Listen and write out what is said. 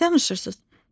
Nə danışırsınız?